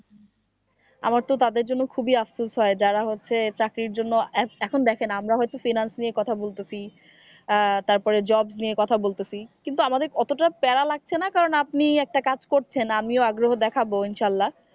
আমারতো তাদের জন্য খুবই আফসোস হয় যারা হচ্ছে চাকরির জন্য এখন দেখেন আমরা হয়তো freelance নিয়ে কথা বলতেছি আহ তারপরে jobs নিয়ে কথা বলতেছি কিন্তু আমাদের কতটা প্যারা লাগছে না কারণ আপনি একটা কাজ করছেন আমি ও আগ্রহ দেখাবো ইনশাআল্লাহ।